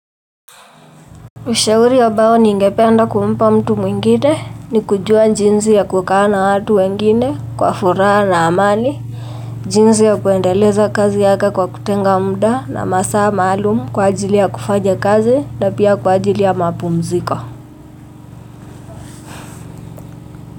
Ushauri amao ningependa kumpa mtu mwingine, ni kujua jinzi ya kukaa na watu wengine, kwa furaha na amani, jinsi ya kuendeleza kazi yake kwa kutenga muda na masaa maalum kwa ajili ya kufanya kazi na pia kwa ajili ya mapumziko.